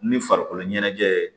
Ni farikolo ɲɛnajɛ ye